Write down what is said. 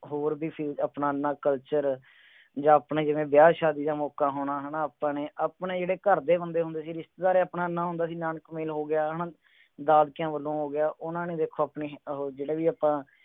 ਹੋਰ ਵੀ ਸੀ ਆਪਣਾ ਏਨਾ culture ਜਾ ਆਪਣੇ ਜਿਵੇ ਵਿਆ ਸ਼ਾਦੀ ਦਾ ਮੋਕ਼ਾ ਹੋਣਾ ਹੈਨਾ ਅਪਾ ਨੇ ਅਪਨੇ ਜੇਰੀ ਕਰ ਦੇ ਹੁੰਦੇ ਹੁੰਦੇ ਸੀ ਰਿਸ਼ਤੇਦਾਰ ਆਪਣਾ ਏਨਾ ਹੁੰਦਾ ਸੀ ਨਾਨਕ ਮੇਲ ਹੋ ਗਿਆ ਹੈਨਾ ਦਾਦਕਿਆਂ ਵੱਲੋਂ ਹੋ ਗਿਆ ਉਹਨਾਂ ਨੇ ਵੇਖੋ ਆਪਣੇ ਉਹ ਜਿਹੜੇ ਵੀ ਆਪਾਂ